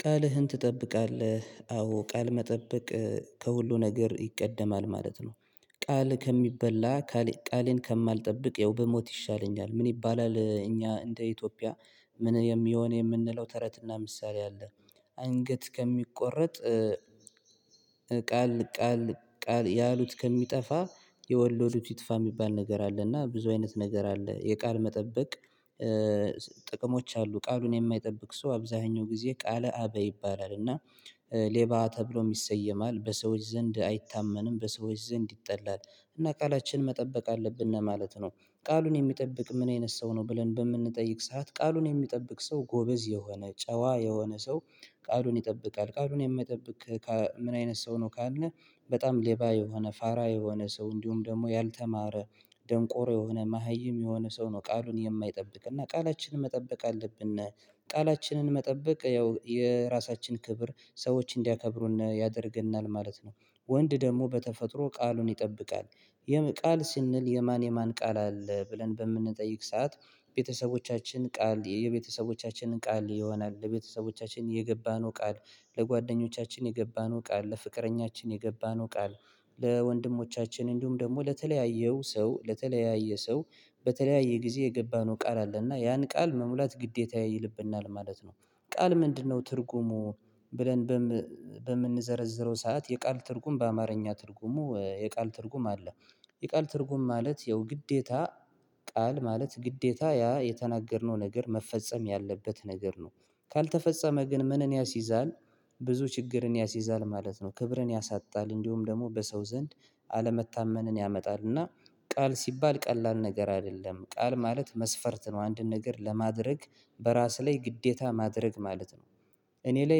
ቃልህን ትጠብቃለህ አዎ ቃል መጠበቅ ከሁሉ ነገር ይቀድማል ማለት ነው። ቃል ከሚበላ ቃሌን ከማልጠብቅ ያው ብሞት ይሻለኛል ምን ይባላል እኛ እንደ ኢትዮጵያ ምን የሚሆን የምንለው ተረትና ምሳሌ አለ። አንገት ከሚቆረጥ ቃል ቃል ያሉት ከሚጠፋ የወሎዱት ይጥፋ የሚባል ነገር አለ እና ብዙ አይነት ነገር አለ የቃል መጠበቅ። ጥቅሞች አሉ ቃሉን የማይጠብቅ ሰው አብዛኛው ጊዜ ቃለ አበይ ይባላል እና ሌባ ተብሎ ይሰየማል በሰዎች ዘንድ አይታመንም በሰዎች ዘንድ ይጠላል እና ቃላችን መጠበቅ አለብን ማለት ነው። ቃሉን የሚጠብቅ ምን አይነት ሰው ነው ብለን በምንጠይቅ ሰዓት ቃሉን የሚጠብቅ ሰው ጎበዝ የሆነ ጨዋ የሆነ ሰው ቃሉን ይጠብቃል ቃሉን የሚጠብቅ ምን አይነት ሰው ነው ካልን? በጣም ሌባ የሆነ ፋራ የሆነ ሰው እንዲሁም ደግሞ ያልተማረ ደንቆሮ የሆነ መሃይም የሆነ ሰው ነው ቃሉን የማይጠብቅ እና ቃላችንን መጠበቅ አለብን ነው። ቃላችንን መጠበቅ ያው የራሳችን ክብር ሰዎች እንዲያከብሩን ያደርገናል ማለት ነው። ወንድ ደግሞ በተፈጥሮ ቃሉን ይጠብቃል የምን ቃል ስንል የማን የማን ቃል አለ ብለን በምንጠይቅ ሰዓት ቤተሰቦቻችን ቃል የቤተሰቦቻችንን ቃል ይሆናል ለቤተሰቦቻችን የገባነው ቃል ለጓደኞቻችንን የገባነው ቃል ለፍቅረኛችን የገባነው ቃል ለወንድሞቻችንን እንዲሁም ደግሞ ለተለያየው ሰው ለተለያየ ሰው በተለያየ ጊዜ የገባነው ቃል አለና ያን ቃል መሙላት ግዴታ ይልብናል ማለት ነው። ቃል ምንድነው ትርጉሙ? ብለን በም በምንዘረዝረው ሰዓት የቃል ትርጉም በአማርኛ ትርጉሙ የቃል ትርጉም አለ የቃል ትርጉም ማለት ያው ግዴታ ቃል ማለት ግዴታ ያ የተናገርነው ነገር መፈጸም ያለበት ነገር ነው። ካልተፈጸመ ግን ምንን ያስይዛል? ብዙ ችግርን ያስይዛል ማለት ነው ክብርን ያሳጣል እንዲሁም ደግሞ በሰው ዘንድ አለመታመንን ያመጣልና ቃል ሲባል ቀላል ነገር አይደለም ቃል ማለት መስፈርት ነው አንድን ነገር ለማድረግ በራስ ላይ ግዴታ ማድረግ ማለት ነው። እኔ ላይ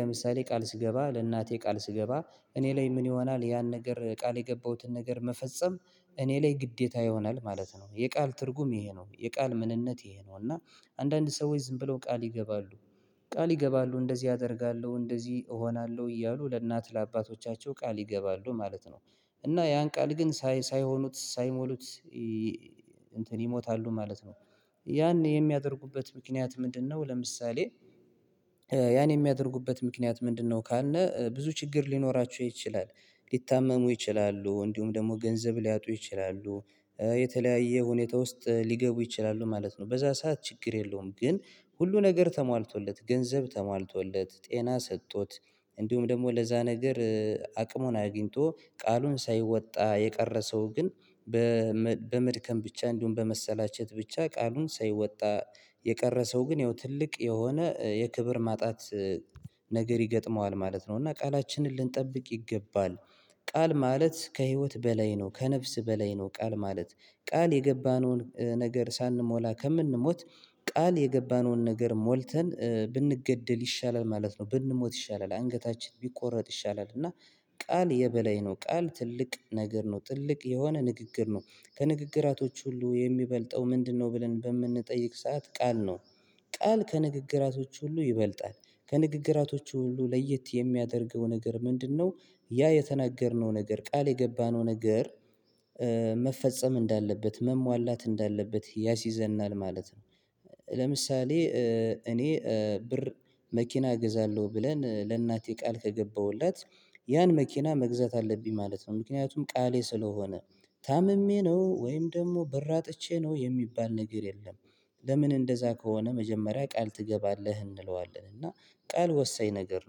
ለምሳሌ ቃል ስገባ ለእናቴ ቃል ስገባ እኔ ላይ ምን ይሆናል ያን ነገር ቃል የገባሁትን ነገር መፈጸም እኔ ላይ ግዴታ ይሆናል ማለት ነው። የቃል ትርጉም ይሄ ነው የቃል ምንነት ይሄ ነው። እና አንዳንድ ሰዎች ዝም ብለው ቃል ይገባሉ ቃል ይገባሉ እንደዚህ አደርጋለሁ እንደዚህ እሆናለሁ እያሉ ለእናት ለአባቶቻቸው ቃል ይገባሉ ማለት ነው እና ያን ቃል ግን ሳይሆኑት ሳይሞሉት እንትን ይሞታሉ ማለት ነው። ያን የሚያደርጉበት ምክንያት ምንድነው ለምሳሌ ያን የሚያደርጉበት ምክንያት ምንድነው? ካልን ብዙ ችግር ሊኖራችሁ ይችላል ሊታመሙ ይችላሉ እንዲሁም ደግሞ ገንዘብ ሊያጡ ይችላሉ የተለያየ ሁኔታ ውስጥ ሊገቡ ይችላሉ ማለት ነው። በዚያ ሰዓት ችግር የለውም ግን ሁሉ ነገር ተሟልቶለት ገንዘብ ተሟልቶለት ጤና ሰጥቶት እንዲሁም ደግሞ ለዚያ ነገር አቅሙን አግኝቶ ቃሉን ሳይወጣ የቀረ ሰው ግን በመድከም ብቻ እንዲሁም በመሰላቸት ብቻ ቃሉን ሳይወጣ የቀረ ሰው ግን ያው ትልቅ የሆነ የክብር ማጣት ነገር ይገጥመዋል ማለት ነው። እና ቃላችንን ልንጠብቅ ይገባል። ቃል ማለት ከህይወት በላይ ነው ከነፍስ በላይ ነው ቃል። ማለት ቃል የገባነውን ነገር ሳንሞላ ከምንሞት ቃል የገባነውን ነገር ሞልተን ብንገደል ይሻላል ማለት ነው። ብንሞት ይሻላል አንገታችን ቢቆረጥ ይሻላል እና ቃል የበላይ ነው ቃል ትልቅ ነገር ነው ትልቅ የሆነ ንግግር ነው። ከንግግራቶች ሁሉ የሚበልጠው ምንድነው? ብለን በምንጠይቅ ሰዓት ቃል ነው። ቃል ከንግግራቶች ሁሉ ይበልጣል ከንግግራቶቹ ሁሉ ለየት የሚያደርገው ነገር ምንድነው? ያ የተናገርነው ነገር ቃል የገባነው ነገር መፈጸም እንዳለበት መሟላት እንዳለበት ያሲዘናል ማለት ነው። ለምሳሌ እኔ ብር መኪና እገዛለሁ ብለን ለእናቴ ቃል ከገባሁለት ያን መኪና መግዛት አለብኝ ማለት ነው። ምክንያቱም ቃሌ ስለሆነ ታምሜ ነው ወይም ደግሞ በር አጥቼ ነው የሚባል ነገር የለም። ለምን እንደዚያ ከሆነ መጀመሪያ ቃል ትገባለህ እንለዋለን እና ቃል ወሳኝ ነገር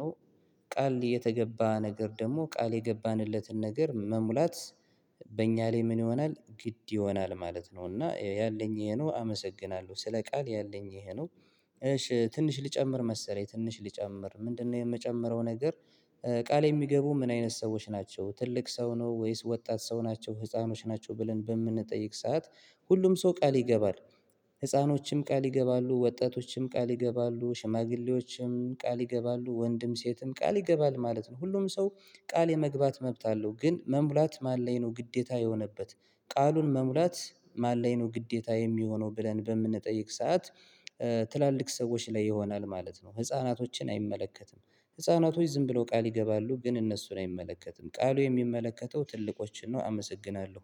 ነው። ቃል የተገባ ነገር ደግሞ ቃል የገባንለትን ነገር መሙላት በእኛ ላይ ምን ይሆናል ግድ ይሆናል ማለት ነው። እና ያለኝ ይሄ ነው አመሰግናለሁ ስለ ቃል ያለኝ ይሄ ነው። እሺ ትንሽ ልጨምር መሰለኝ ትንሽ ልጨምር ምንድነው የምጨምረው ነገር? ቃል የሚገቡ ምን አይነት ሰዎች ናቸው ትልቅ ሰው ነው ወይስ ወጣት ሰው ናቸው ህፃኖች ናቸው ብለን በምንጠይቅ ሰዓት። ሁሉም ሰው ቃል ይገባል ህፃኖችም ቃል ይገባሉ ወጣቶችም ቃል ይገባሉ ሽማግሌዎችም ቃል ይገባሉ ወንድም ሴትም ቃል ይገባል ማለት ነው። ሁሉም ሰው ቃል የመግባት መብት አለው። ግን መሙላት ማን ላይ ነው ግዴታ የሆነበት ቃሉን መሙላት ማን ላይ ነው ግዴታ የሚሆነው ብለን በምንጠይቅ ሰዓት? ትላልቅ ሰዎች ላይ ይሆናል ማለት ነው። ህፃናቶችን አይመለከትም ህፃናቶች ዝም ብለው ቃል ይገባሉ ግን እነሱን አይመለከትም ቃሉ የሚመለከተው ትልቆችን ነው። አመሰግናለሁ